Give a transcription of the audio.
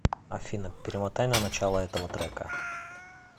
афина перемотай на начало этого трека